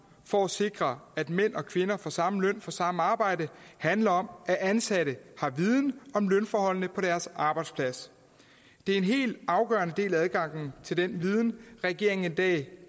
for at sikre at mænd og kvinder får samme løn for samme arbejde handler om at ansatte har viden om lønforholdene på deres arbejdsplads det er en helt afgørende del af adgangen til den viden regeringen i dag